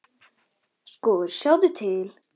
Sko, sjáðu til.